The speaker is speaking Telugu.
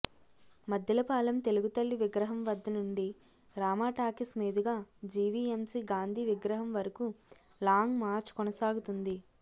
మద్దిలపాలెం తెలుగుతల్లి విగ్రహం వద్ద నుండి రామా టాకీస్ మీదుగా జివిఎంసి గాంధీ విగ్రహం వరకూ లాంగ్ మార్చ్ కొనసాగుతుంది